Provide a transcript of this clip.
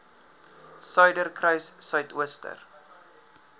suiderkruissuidooster